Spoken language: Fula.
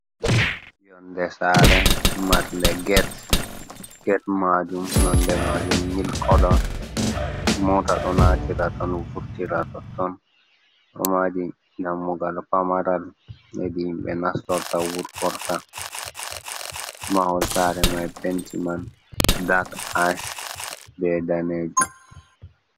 Yonde Sare marde Ged. Ged majum nonde majum mil koloo, mota ɗo natira ton vurtira totton. Ɗo mari Dammugal Pamaral, hedi himɓe nastorta wurtorta. Mahol Sare mai Penti man dak be Danejum.